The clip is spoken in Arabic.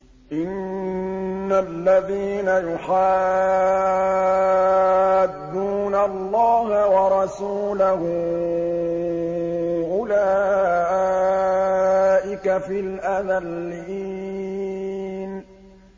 إِنَّ الَّذِينَ يُحَادُّونَ اللَّهَ وَرَسُولَهُ أُولَٰئِكَ فِي الْأَذَلِّينَ